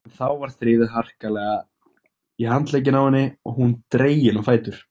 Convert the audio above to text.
En þá var þrifið harkalega í handlegginn á henni og hún dregin á fætur.